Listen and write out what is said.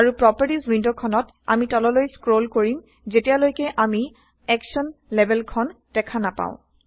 আৰু প্ৰপাৰ্টিজ ৱিণ্ডখনত আমি তললৈ স্ক্ৰল কৰিম যেতিয়ালৈকে আমি একশ্যন লেবেলখন দেখা নাপাও